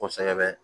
Kosɛbɛ